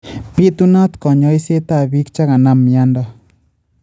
Bitunaat konyoisetab biik che kanam myanto